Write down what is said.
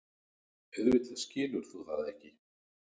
Auðvitað skilur þú það ekki.